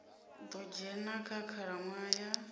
ḓo dzhena kha khalaṅwaha ya